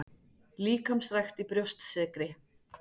Líkamsrækt í Brjóstsykri